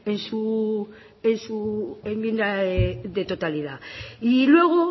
en su enmienda de totalidad y luego